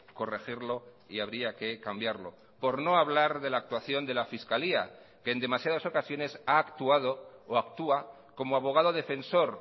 corregirlo y habría que cambiarlo por no hablar de la actuación de la fiscalía que en demasiadas ocasiones ha actuado o actúa como abogado defensor